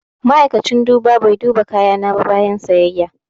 Ma'aikacin duba bai duba kayana ba bayan siyayya.